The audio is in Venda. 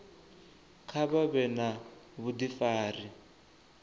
kha vha vhe na vhudifari